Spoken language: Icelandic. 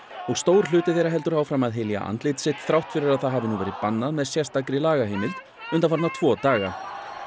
og stór hluti þeirra heldur áfram að hylja andlit sitt þrátt fyrir að það hafi nú verið bannað með sérstakri lagaheimild undanfarna tvo daga